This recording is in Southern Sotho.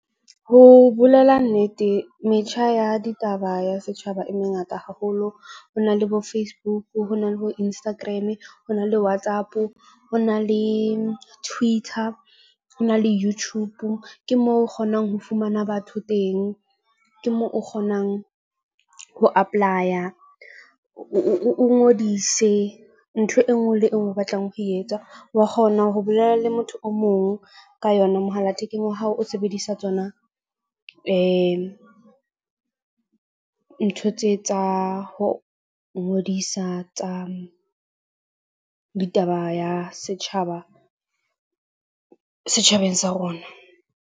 Ho bolela nnete metjha ya ditaba ya setjhaba e mengata haholo. Ho na le bo Facebook, ho na le bo Instagram-e, ho na le WhatsApp-o. Ho na le Twitter, ho na le Youtube. Ke moo o kgonang ho fumana batho teng, ke moo o kgonang ho apply-a o ngodise ntho e nngwe le e nngwe o batlang ho etsa, wa kgona ho bolela le motho o mong ka yona mohala thekeng wa hao o sebedisa tsona. Ntho tse tsa ho ngodisa tsa ditaba ya setjhaba setjhabeng sa rona.